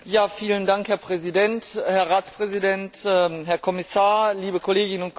Herr Präsident, Herr Ratspräsident, Herr Kommissar, liebe Kolleginnen und Kollegen!